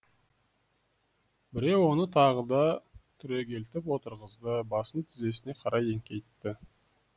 біреу оны тағы да түрегелтіп отырғызды басын тізесіне қарай еңкейтті